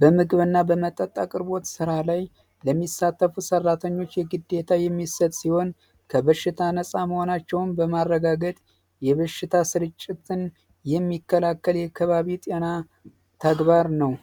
በምግብ እና በመጠጣት ስራ ላይ ለሚሳተፉ ሰራተኞች የግዴታ የሚሰጥ ሲሆን ከበሽታ ነፃ መሆናቸውን በማረጋገጥ የበሽታ ስርጭትን የሚከላከል አካባቢ ጤና ተግባር ነው